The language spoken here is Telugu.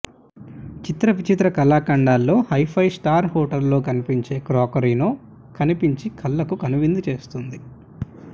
చిత్ర విచిత్ర కళాఖండాలో ఫైవ్ స్టార్ హొటళ్లలో కనిపించే క్రోకరీనో కనుపించి కళ్ళకు కనువిందు చేస్తుంది